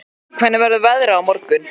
Múli, hvernig verður veðrið á morgun?